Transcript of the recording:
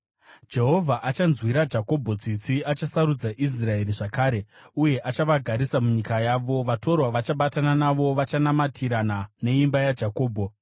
Jehovha achanzwira Jakobho tsitsi; achasarudza Israeri zvakare uye achavagarisa munyika yavo. Vatorwa vachabatana navo vachanamatirana neimba yaJakobho.